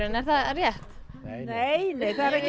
er það rétt nei nei nei það er ekkert